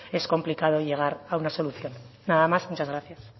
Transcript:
es complicado llegar a una solución nada más muchas gracias